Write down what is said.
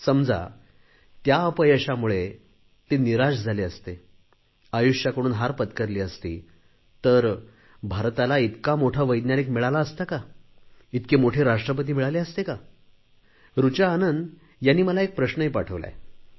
समजा त्या अपयशामुळे ते निराश झाले असते आयुष्याकडून हार पत्करली असती तर भारताला इतके मोठे वैज्ञानिक मिळाले असते का इतके मोठे राष्ट्रपती मिळाले असते का कुणी ऋचा आनंद यांनी मला एक प्रश्न पाठवला आहे